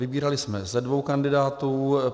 Vybírali jsme ze dvou kandidátů.